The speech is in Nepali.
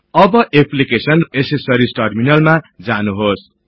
अब application GT accessories GT terminal मा जानुहोस्